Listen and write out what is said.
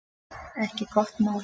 Ekki gott mál